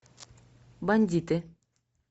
бандиты